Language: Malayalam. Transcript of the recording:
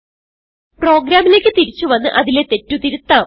പ്രോഗ്രാമിലേക്ക് തിരിച്ചു വന്നു അതിലെ തെറ്റ് തിരുത്താം